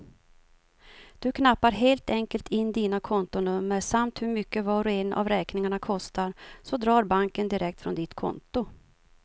Du knappar helt enkelt in dina kontonummer samt hur mycket var och en av räkningarna kostar, så drar banken direkt från ditt konto.